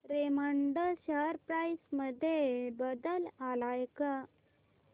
Raymond share price मध्ये बदल आलाय का